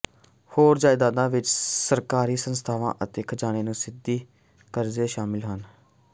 ਹੋਰ ਜਾਇਦਾਦਾਂ ਵਿੱਚ ਸਰਕਾਰੀ ਸੰਸਥਾਵਾਂ ਅਤੇ ਖਜ਼ਾਨੇ ਨੂੰ ਸਿੱਧੀ ਕਰਜ਼ੇ ਸ਼ਾਮਲ ਹਨ